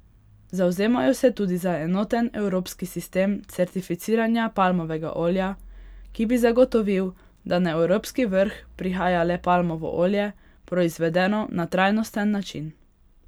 Zavzemajo se tudi za enoten evropski sistem certificiranja palmovega olja, ki bi zagotovil, da na evropski vrh prihaja le palmovo olje, proizvedeno na trajnosten način.